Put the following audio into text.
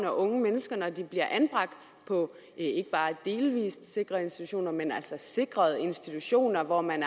og unge mennesker når de bliver anbragt på ikke bare delvis sikrede institutioner men altså på sikrede institutioner hvor man